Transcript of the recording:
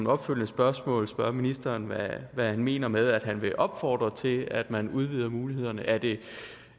opfølgende spørgsmål spørge ministeren hvad han mener med at han vil opfordre til at man udvider mulighederne er det